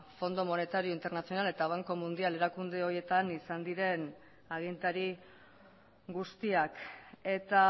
fondo monetario internacional eta banco mundial erakunde horietan izan diren agintari guztiak eta